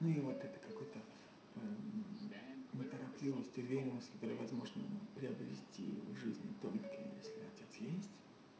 ну вот это какой-то неторопливость уверенность которую возможно приобрести в жизни только если отец есть